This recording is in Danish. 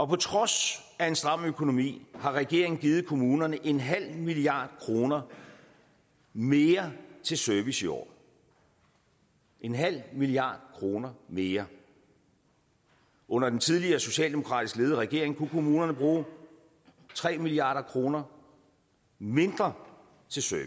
på trods af en stram økonomi har regeringen givet kommunerne en halv milliard kroner mere til service i år en halv milliard kroner mere under den tidligere socialdemokratisk ledede regering kunne kommunerne bruge tre milliard kroner mindre